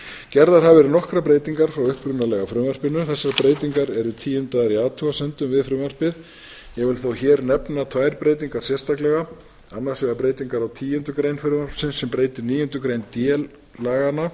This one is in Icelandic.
gerðar hafa verið nokkrar breytingar frá upprunalega frumvarpinu þessar breytingar eru tíundaðar í athugasemdum við frumvarpið ég vil þó hér nefna tvær breytingar sérstaklega annars vegar breytingar á tíundu grein frumvarpsins sem breytir níundu grein d laganna